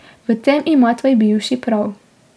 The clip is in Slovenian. V tem ima tvoj bivši prav.